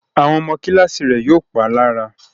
Àwọn ọmọ Kíláàsì rẹ̀ yóò pá lára